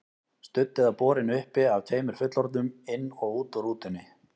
Studd eða borin uppi af tveimur fullorðnum, inn og út úr rútunni.